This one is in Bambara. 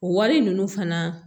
O wari ninnu fana